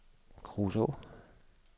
Kruså